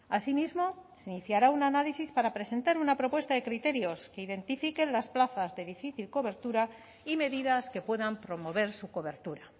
asimismo se iniciará un análisis para presentar una propuesta de criterios que identifiquen las plazas de difícil cobertura y medidas que puedan promover su cobertura